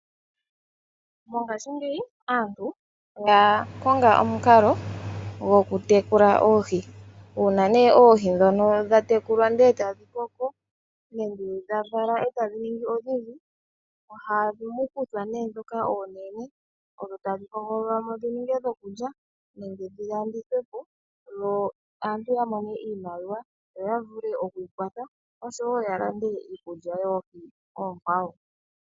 Mongashingeyi aantu oya konga omukalo gokutekula oohi . Uuna oohi ndhono dha tekulwa ndele etadhi koko nenge dhavala etadhi ningi odhindji , ohamu kuthwa ndhoka oonene . Ohadhi hogololwamo dhininge dhokulya nenge dhilandithwepo opo aantu yamone iimaliwa yo yavule okwiikwatha oshowoo yalande Iikulya yoohi oonkwawo.